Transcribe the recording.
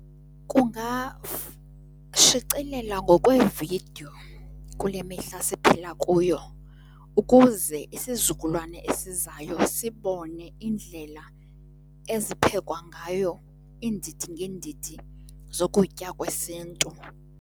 shicilela ngokwevidiyo kule mihla siphila kuyo ukuze isizukulwane esizayo sibone iindlela eziphekwa ngayo iindidi ngeendidi zokutya kwesintu.